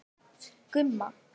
Gumma